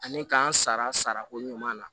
Ani k'an sara ko ɲuman na